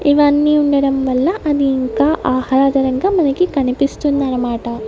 ఇవి అన్నీ ఉండడం వల్ల అని ఇంకా ఆహ్లాదరంగా మనకి కనిపిస్తుంది అనమాట --